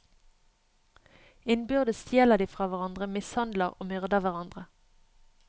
Innbyrdes stjeler de fra hverandre, mishandler og myrder hverandre.